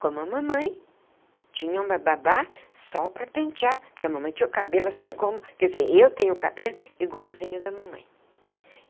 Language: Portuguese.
Como a mamãe tinha uma babá só para pentear, porque a mamãe tinha o cabelo assim como... quer dizer, eu tenho o cabelo igualzinho da mamãe.